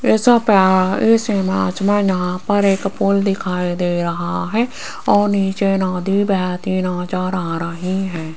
ऐसा पहाड़ इस इमेज में यहां पर एक पुल दिखाई दे रहा है और नीचे नदी बहती नजर आ रही है।